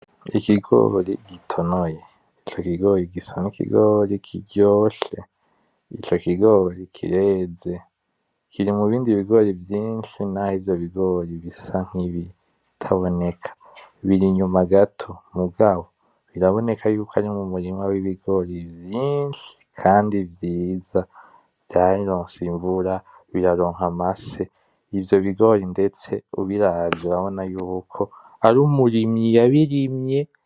Ikigori gitonoye. Ico kigori gisa nk'ikigori kiryoshe, Ico kigori kireze Kiri mubindi bigori vyinshi naho ivyo bigori bisa nkibitaboneka biri inyuma gato biraboneka ko ari m'umurima w'ibigori vyinshi Kandi vyiza vyaronse imvura biraronka amase, ivyo bigori ndetse urabona yuko ari umurimyi yabirimye.